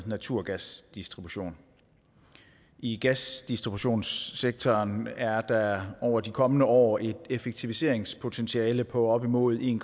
naturgasdistribution i gasdistributionssektoren er der over de kommende år et effektiviseringspotentiale på op imod en